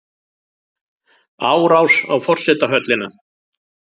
Árás á forsetahöllina